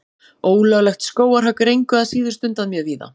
Ólöglegt skógarhögg er engu að síður stundað mjög víða.